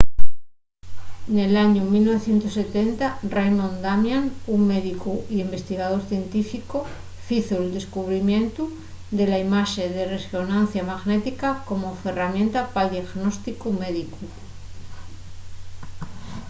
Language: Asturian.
nel añu 1970 raymond damadian un médicu y investigador científicu fizo’l descubrimientu de la imaxe de resonancia magnética como ferramienta pal diagnósticu médicu